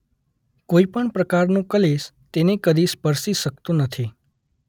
કોઇ પણ પ્રકારનો કલેશ તેને કદી સ્પર્શી શકતો નથી.